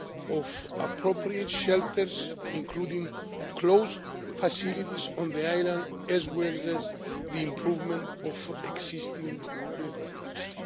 of appropriate shelters, including closed facilities on the islands, as well as the improvement of existing infrastructure.